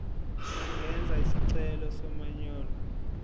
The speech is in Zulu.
engenza isicelo somanyolo